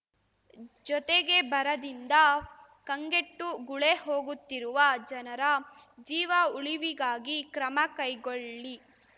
ಜೊತೆಗೆ ಬರದಿಂದ ಕಂಗೆಟ್ಟು ಗುಳೆ ಹೋಗುತ್ತಿರುವ ಜನರ ಜೀವ ಉಳಿವಿಗಾಗಿ ಕ್ರಮ ಕೈಗೊಳ್ಳಿ